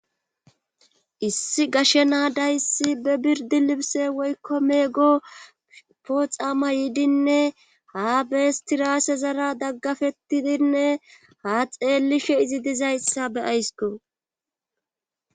issi gashe naadayssi be birdi libse woykko meego pooxama yiidinne haa beestiraase zara daggafettidinne ha xeelishe izi dizayssa be ayssko